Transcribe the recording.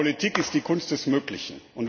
Aber Politik ist die Kunst des Möglichen.